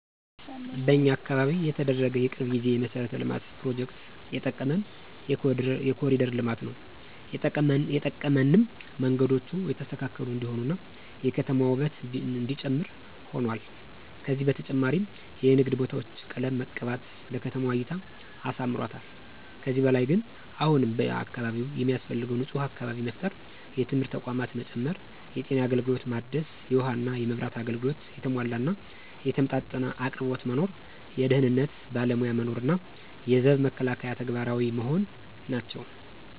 በኛ አካባቢ የተደረገ የቅርብ ጊዜ የመሠረተ ልማት ፕሮጀክት የጠቀመን የኮሪደር ልማት ነው የጠቀመንም መንገዶቹ የተስተካከሉ እንዲሆኑ እና የከተማዋ ውበት እነዲጨምር ሁኗል። ከዚ በተጨማሪም የንግድ ቦታዎች ቀለም መቀባት ለከተማዋ እይታ አሳምሮታል። ከዚህ በላይ ግን አሁንም በአካባቢው የሚያስፈልገው ንፁህ አካባቢ መፍጠር፣ የትምህርት ተቋማት መጨመር፣ የጤና አገልግሎት ማደስ፣ የውሃ እና የመብራት አገልግሎት የተሟላ እና የተመጣጠነ አቅርቦት መኖር፣ የደህንነት ባለሞያ መኖር እና የዘብ መከላከያ ተግባራዊ መሆን ናቸው።